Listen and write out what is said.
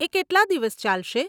એ કેટલાં દિવસ ચાલશે?